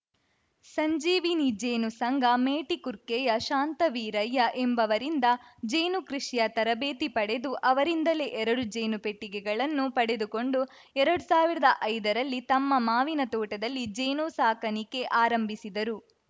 ಸಂಜೀವಿನಿ ಜೇನು ಸಂಘ ಮೇಟಿಕುರ್ಕೆಯ ಶಾಂತವೀರಯ್ಯ ಎಂಬವರಿಂದ ಜೇನು ಕೃಷಿಯ ತರಬೇತಿ ಪಡೆದು ಅವರಿಂದಲೇ ಎರಡು ಜೇನು ಪೆಟ್ಟಿಗೆಗಳನ್ನು ಪಡೆದುಕೊಂಡು ಎರಡು ಸಾವಿರದ ಐದರಲ್ಲಿ ತಮ್ಮ ಮಾವಿನ ತೋಟದಲ್ಲಿ ಜೇನು ಸಾಕಾಣಿಕೆ ಆರಂಭಿಸಿದರು